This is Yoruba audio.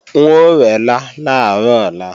N ó rẹ́lá làárọ̀ ọ̀la